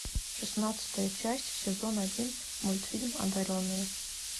шестнадцатая часть сезон один мультфильм одаренные